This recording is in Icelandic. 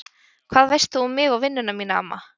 Hvað veist þú um mig og vinnuna mína amma?